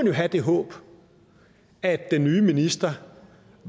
jo have det håb at den nye minister